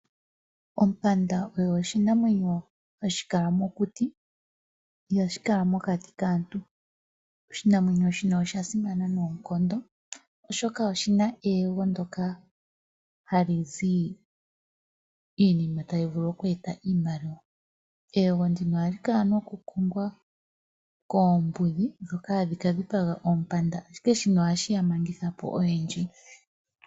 Ompanda oyo oshinamwenyo hashi kala mokuti ihashi kala mokati kaantu. Oshinamwenyo shino osha simana noonkondo oshoka oshina eyego ndoka hali zi iinima tayi vulu oku eta iimaliwa, eyego ndino ohali kala noku kongwa koombudhi ndhoka hadhi ka dhipaga oompanda ashike shino ohaye shi ya mangithapo oyendji.